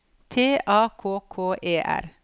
T A K K E R